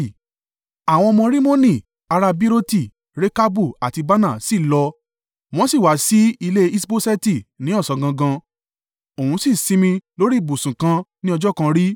Àwọn ọmọ Rimoni, ará Beeroti, Rekabu àti Baanah sì lọ wọ́n sì wá síh ilé Iṣboṣeti ní ọ̀sán gangan, òun sì sinmi lórí ibùsùn kan ní ọjọ́-kanrí.